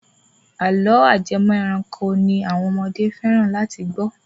Àlọ́ ajẹmọ ẹranko ni àwọn ọmọdé fẹ́ràn láti gbọ́.